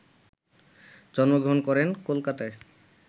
জন্মগ্রহণ করেন কোলকাতায়,